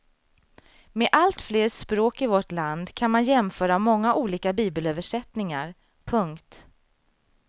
Med alltfler språk i vårt land kan man jämföra många olika bibelöversättningar. punkt